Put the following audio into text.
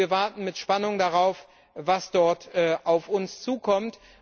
Wir warten mit Spannung darauf, was dort auf uns zukommt.